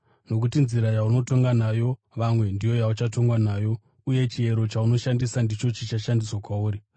Nokuti nzira yaunotonga nayo vamwe ndiyo yauchatongwa nayo, uye chiero chaunoshandisa ndicho chichashandiswa kwauri.